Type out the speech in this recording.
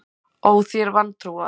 Ó, þér vantrúaðir!